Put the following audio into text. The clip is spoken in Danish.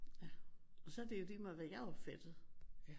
Og så er det jo ligemeget hvad jeg opfattede